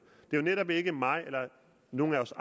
det er netop ikke mig eller nogen af os